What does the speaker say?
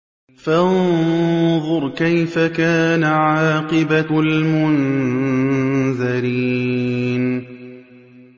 فَانظُرْ كَيْفَ كَانَ عَاقِبَةُ الْمُنذَرِينَ